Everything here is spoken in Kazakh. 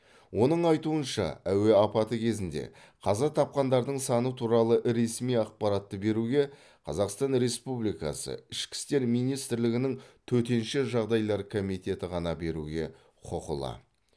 оның айтуынша әуе апаты кезінде қаза тапқандардың саны туралы ресми ақпаратты беруге қазақстан республикасы ішкі істер министрлігінің төтенше жағдайлар комитеті ғана беруге құқылы